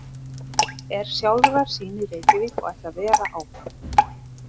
Er sjálfrar sín í Reykjavík og ætlar að vera áfram.